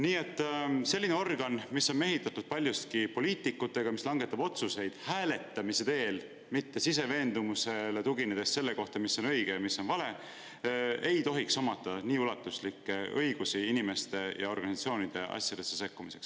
Nii et selline organ, mis on mehitatud paljuski poliitikutega ja mis hääletamise teel, mitte siseveendumusele tuginedes langetab otsuseid selle kohta, mis on õige ja mis on vale, ei tohiks omada nii ulatuslikke õigusi inimeste ja organisatsioonide asjadesse sekkumiseks.